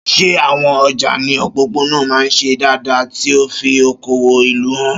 Ṣé àwọn ọjà ní òpópónà máa ń ṣe dáadáa, tí ó ń fi okòwò ìlú hàn?